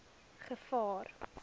gevaar